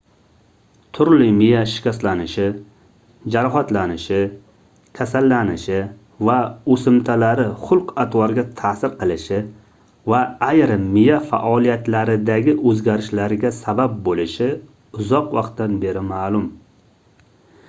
turli miya shikastlanishi jarohatlanishi kasallanishi va oʻsimtalari xulq-atvorga taʼsir qilishi va ayrim miya faoliyatlaridagi oʻzgarishlarga sabab boʻlishi uzoq vaqtdan beri maʼlum